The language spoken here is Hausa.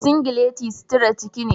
singileti suturar ciki ne.